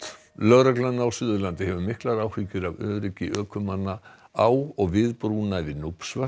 lögreglan á Suðurlandi hefur miklar áhyggjur af öryggi ökumanna á og við brúna yfir